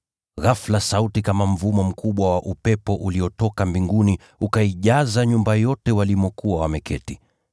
Ghafula sauti kama mvumo mkubwa wa upepo mkali uliotoka mbinguni ukaijaza nyumba yote walimokuwa wameketi.